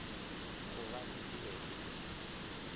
gobane e be e le